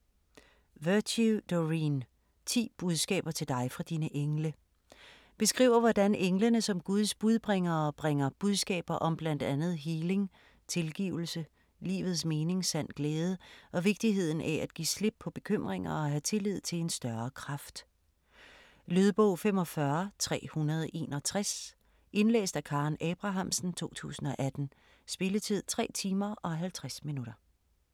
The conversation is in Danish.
Virtue, Doreen: 10 budskaber til dig fra dine engle Beskriver hvordan englene som Guds budbringere bringer budskaber om bl.a. healing, tilgivelse, livets mening, sand glæde og vigtigheden af at give slip på bekymringer og have tillid til en større kraft. Lydbog 45361 Indlæst af Karen Abrahamsen, 2018. Spilletid: 3 timer, 50 minutter.